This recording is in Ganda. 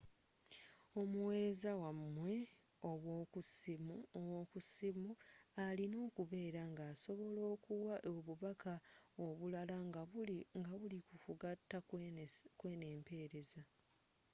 omuweereza wamwe owokussimu alina okubeera nga asobola okuwa obubaka obulala nga buli ku kugata kweno empeereza